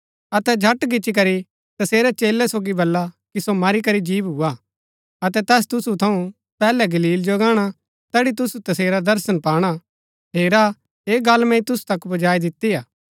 अतै झट गिच्ची करी तसेरै चेलै सोगी बला कि सो मरी करी जी भूआ अतै तैस तुसु थऊँ पैहलै गलील जो गाणा तैड़ी तुसु तसेरा दर्शन पाणा हेरा ऐह गल्ल मैंई तुसु तक पुजाई दितिआ